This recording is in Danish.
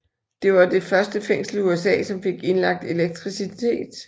Det var det første fængsel i USA som fik indlagt elektricitet